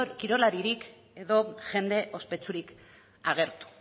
kirolaririk edo jende ospetsurik agertu